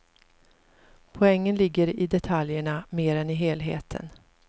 Poängen ligger i detaljerna mer än i helheten.